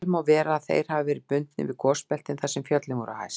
Vel má vera að þeir hafi verið bundnir við gosbeltin þar sem fjöll voru hæst.